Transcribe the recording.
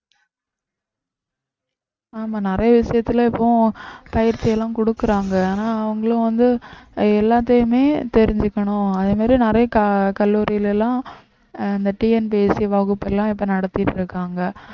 ஆமா நிறைய விஷயத்துல இப்போ பயிற்சி எல்லாம் கொடுக்குறாங்க ஆனா அவங்களும் வந்து எல்லாத்தையுமே தெரிஞ்சுக்கணும் அதே மாதிரி நிறைய க~ கல்லூரியில எல்லாம் இந்த TNPSC வகுப்பெல்லாம் இப்ப நடத்திட்டு இருக்காங்க